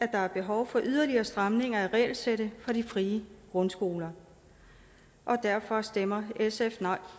der er behov for yderligere stramninger af regelsættet for de frie grundskoler og derfor stemmer sf nej